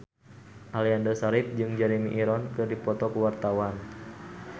Aliando Syarif jeung Jeremy Irons keur dipoto ku wartawan